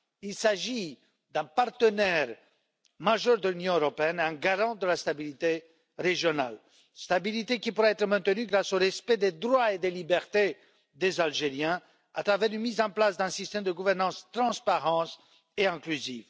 Il s'agit d'un partenaire majeur de l'Union européenne, un garant de la stabilité régionale, stabilité qui pourrait être maintenue grâce au respect des droits et des libertés des Algériens par la mise en place d'un système de gouvernance transparent et inclusif.